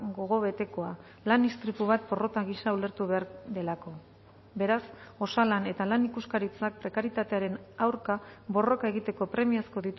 gogobetekoa lan istripu bat porrota gisa ulertu behar delako beraz osalan eta lan ikuskaritzak prekarietatearen aurka borroka egiteko premiazko